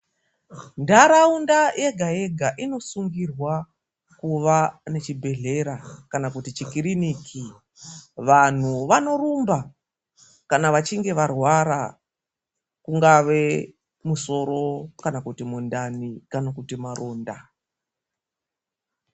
Ndaraunda yega yega inosungirwa kuva nechibhedhlera kana kuti chikiriniki. Vanhu vanorumba kana vachinge varwara. Kungave musoro kana kuti mundani kana kuti maronda.